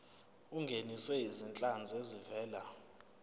ungenise izinhlanzi ezivela